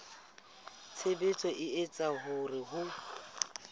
tshebetso e etsang hore ho